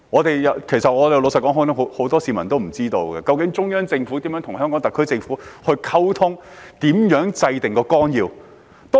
老實說，很多市民都不知道中央政府如何與香港特區政府溝通，以及如何制訂綱要。